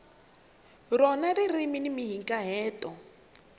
rona ririmi ni mahikahatelo